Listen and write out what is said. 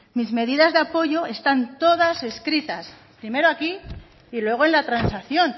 mis medidas de apoyo están todas escritas primero aquí y luego en la transacción